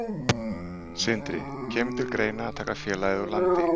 Sindri: Kemur til greina að taka félagið úr landi?